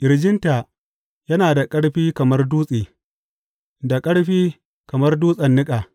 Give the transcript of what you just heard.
Ƙirjinta yana da ƙarfi kamar dutse, da ƙarfi kamar dutsen niƙa.